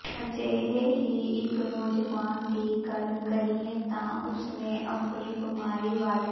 ਅਜਿਹੇ ਹੀ ਇੱਕ ਨੌਜਵਾਨ ਦੀ ਗੱਲ ਕਰੀਏ ਤਾਂ ਉਸਨੇ ਆਪਣੀ ਬਿਮਾਰੀ ਵਾਲੇ